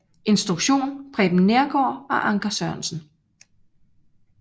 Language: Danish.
Instruktion Preben Neergaard og Anker Sørensen